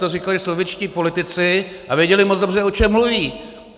To říkali sovětští politici a věděli moc dobře, o čem mluví.